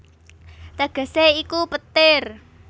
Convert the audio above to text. Tegesé iku Petir